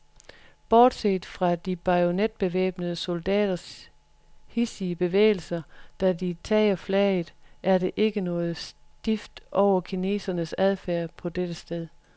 Bortset fra de bajonetbevæbnede soldaters hidsige bevægelser, da de tager flaget, er der ikke noget stift over kinesernes adfærd på dette sted.